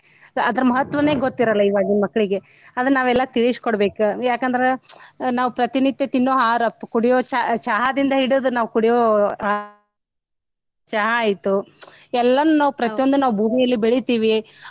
ಅದರ ಮಹತ್ವನೆ ಗೊತ್ತಿರಲ್ಲ ಇವಾಗಿನ ಮಕ್ಕಳಿಗೆ ಅದನ್ನ ನಾವೆಲ್ಲಾ ತಿಳ್ಸಿಕೊಡ್ಬೇಕ ಯಾಕಂದ್ರ ನಾವ್ ಪ್ರತಿನಿತ್ಯ ತಿನ್ನೋ ಆಹಾರ ಕುಡಿಯೋ ಚಾ ಚಹಾದಿಂದ ಹಿಡದ ನಾವ್ ಕುಡಿಯೋ ಚಹಾ ಆಯ್ತು ಎಲ್ಲಾನು ನಾವ್ ಪ್ರತಿಯೊಂದನ್ನು ನಾವ್ ಭೂಮಿಯಲ್ಲಿ ಬೆಳಿತೀವಿ.